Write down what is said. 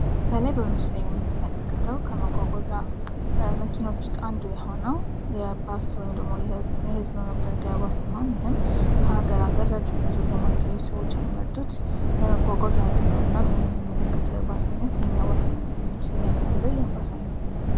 ከላይ በምስሉ ላይ የምንመለከተው ከመጓጓዣ መኪኖች ውስጥ አንዱ የሆነው የህዝብ መገልገያ ባስ ሲሆን ይህም ከሀገር ሀገር ረጅም ጉዞን ለማካሄድ ብዙ ሰዎች የሚመርጡት የመጓጓዣ አይነት ነው። እናም የምንመለከተው የባስ አይነት የኛ ባስ የሚል ስያሜ ያለው የባስ አይነት ነው።